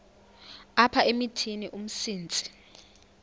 apha emithini umsintsi